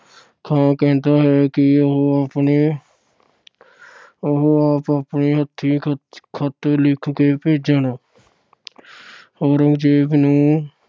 ਖਾਨ ਕਹਿੰਦਾ ਹੈ ਕਿ ਉਹ ਆਪਣੇ ਉਹ ਆਪ ਆਪਣੇ ਹੱਥੀਂ ਖਤ ਅਹ ਖਤ ਲਿਖ ਕੇ ਭੇਜਣ। ਔਰੰਗਜ਼ੇਬ ਨੂੰ